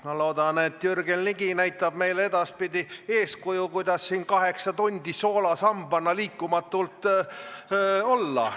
Ma loodan, et Jürgen Ligi näitab meile edaspidi eeskuju, kuidas siin kaheksa tundi soolasambana liikumatult olla.